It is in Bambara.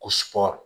Ko sɔgo